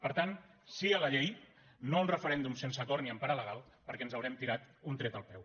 per tant sí a la llei no a un referèndum sense acord ni en part alegal perquè ens haurem tirat un tret al peu